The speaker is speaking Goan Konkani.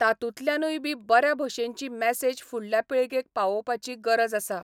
तातुंतल्यानूय बी बऱ्या भशेनची मॅसेज फुडल्या पिळगेक पावोवपाची गरज आसा.